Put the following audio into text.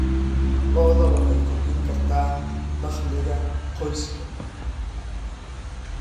Lo'da lo'da waxay kordhin kartaa dakhliga qoyska.